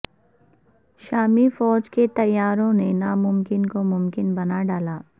شامی فوج کے طیاروں نے ناممکن کو ممکن بنا ڈالا